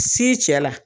Si cɛ la